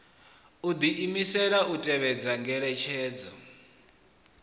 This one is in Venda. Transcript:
u diimisela u tevhedza ngeletshedzo